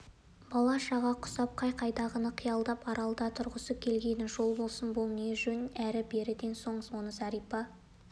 бала-шаға құсап қай-қайдағыны қиялдап аралда тұрғысы келгеніне жол болсын бұл не жөн әрі-беріден соң оны зәрипа